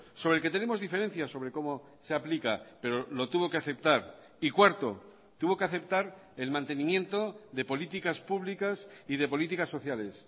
sobre el que tenemos diferencias sobre cómo se aplica pero lo tuvo que aceptar y cuarto tuvo que aceptar el mantenimiento de políticas públicas y de políticas sociales